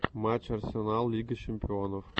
матч арсенал лига чемпионов